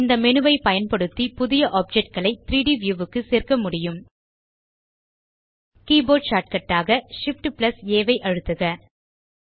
இந்த மேனு ஐ பயன்படுத்தி புது ஆப்ஜெக்ட் களை 3ட் வியூ க்கு சேர்க்க முடியும் கீபோர்ட் ஷார்ட்கட் ஆக Shift ஆம்ப் ஆ ஐ அழுத்துக